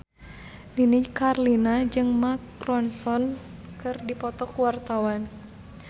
Nini Carlina jeung Mark Ronson keur dipoto ku wartawan